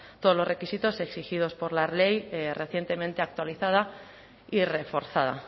todos los requisitos exigidos por la ley recientemente actualizada y reforzada